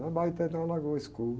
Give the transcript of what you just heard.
Na tem uma lagoa escura.